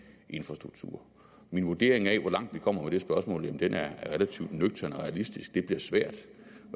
infrastruktur min vurdering af hvor langt vi kommer med det spørgsmål er relativt nøgtern og realistisk det bliver svært